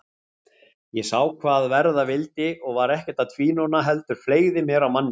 Ég sá hvað verða vildi og var ekkert að tvínóna heldur fleygði mér á manninn.